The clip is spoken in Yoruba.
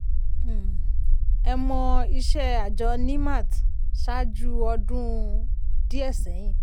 um ẹ mọ̀ iṣẹ́ àjọ nimet ṣáájú ọdún um díẹ̀ sẹ́yìn?